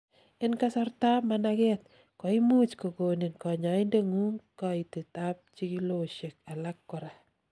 en kasartab managet, koimuch kogonin kanyoindetngung kaitet ab chikilosiek alak korak